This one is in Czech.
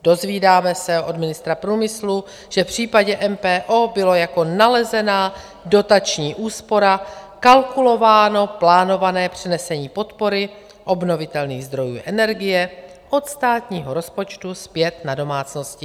Dozvídáme se od ministra průmyslu, že v případě MPO bylo jako nalezená dotační úspora kalkulováno plánované přenesení podpory obnovitelných zdrojů energie od státního rozpočtu zpět na domácnosti.